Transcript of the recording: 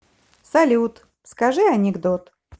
салют скажи анекдот